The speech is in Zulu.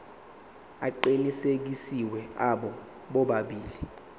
aqinisekisiwe abo bobabili